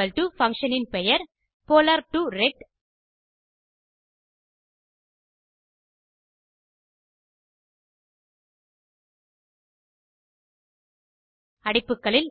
equal to function பெயர் polar2ரெக்ட் அடைப்புகளில்